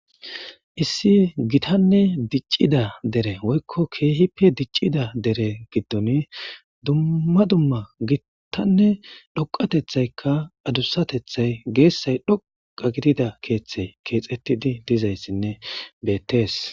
issi gitanne diccida dere woykko keehippe diccida dere giddon dumma dumma gittanne dhoqatethaykka adussatethay geessay dhoqa gidida keeththey keexettidi dizayssinne beettees